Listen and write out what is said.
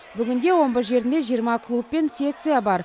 бүгінде омбы жерінде жиырма клуб пен секция бар